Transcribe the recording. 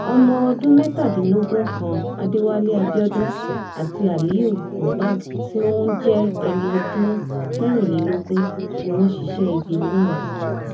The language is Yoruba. ọmọọ̀dún mẹ́tàdínlógún kan adéwálé abiodun àti aliu mubak tí òún jẹ́ ẹni ọdún mẹ́rìnlélógún ni wọ́n ṣiṣẹ́ ibi náà